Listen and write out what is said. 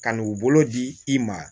Ka n'u bolo di i ma